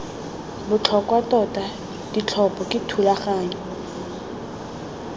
botlhokwa tota ditlhopho ke thulaganyo